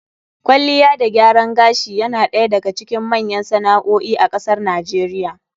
Kwalliya da gyaran gashi yana ɗaya daga cikin manyan sana'o'i a kasar NIGERIA.